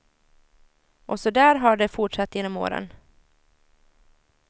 Och så där har det fortsatt genom åren.